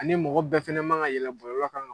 Ani mɔgɔ bɛɛ fɛnɛ ma ga yɛlɛn bɔlɔlɔ kan